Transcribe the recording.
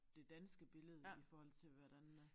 Det danske billede i forhold til hvordan øh